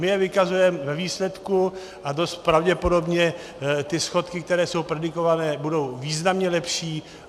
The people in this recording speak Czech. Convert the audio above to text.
My je vykazujeme ve výsledku a dost pravděpodobně ty schodky, které jsou predikované, budou významně lepší.